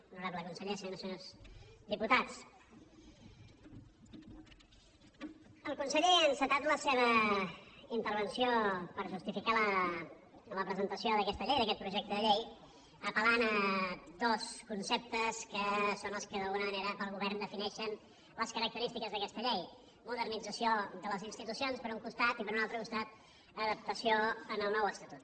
honorable conseller senyores i senyors diputats el conseller ha encetat la seva intervenció per justificar la presentació d’aquesta llei d’aquest projecte de llei apel·lant a dos conceptes que són els que d’alguna manera per al govern defineixen les característiques d’aquesta llei modernització de les institucions per un costat i per un altre costat adaptació al nou estatut